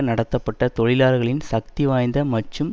நடத்தப்பட்ட தொழிலாளர்களின் சக்தி வாய்ந்த மற்றும்